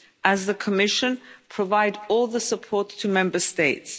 we as the Commission provide all the support to Member States.